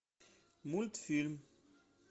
мультфильм